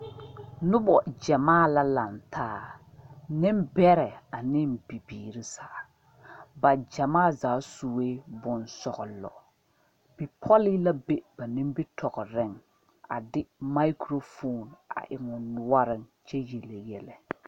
Nobo gyamaa la laŋ taa nenberɛ ane bibiiri zaa ,ba gyamaa zaa suɛ bonsɔglo ,bipole la be ba nimitɔɔre a de microphone eŋ o noore kyɛ yeli yɛllɛ.